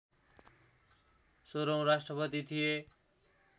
सोह्रौँ राष्ट्रपति थिए